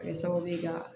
Kɛ sababu ye ka